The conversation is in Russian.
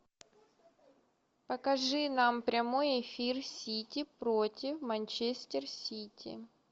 покажи нам прямой эфир сити против манчестер сити